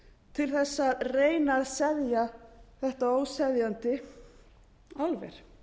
til þess að reyna að seðja þetta óseðjandi álver